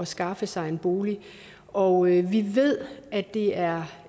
skaffe sig en bolig og vi ved at det er